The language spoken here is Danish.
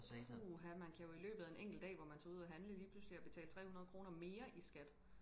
puha man kan jo i løbet af en enkelt dag hvor man tager ud og handle lige pludselig have betalt trehundrede kroner mere i skat